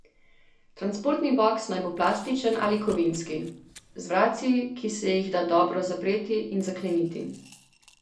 Transportni boks naj bo plastičen ali kovinski, z vratci, ki se jih da dobro zapreti in zakleniti.